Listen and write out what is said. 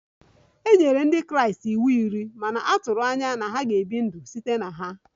E nyere Ndị Kraịst iwu iri ma na-atụ anya na ha ga-ebi ndụ site na ha